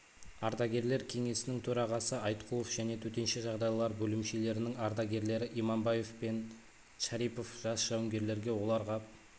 ардагерлер кеңесінің төрағасы айткулов және төтенше жағдайлар бөлімшелерінің ардагерлері имамбаев пен шарипов жас жауынгерлерге оларға